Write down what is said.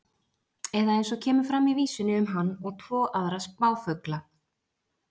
Eða eins og kemur fram í vísunni um hann og tvo aðra spáfugla: